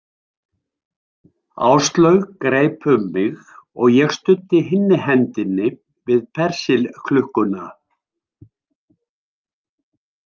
Áslaug greip um mig og ég studdi hinni hendinni við Persilklukkuna.